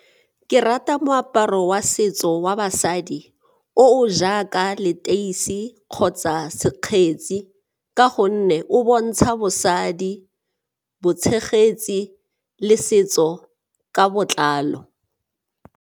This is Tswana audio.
Ke rata moaparo wa setso wa basadi o o jaaka leteisi kgotsa sekgetsi ka gonne o bontsha bosadi, botshegetsi le setso ka botlalo.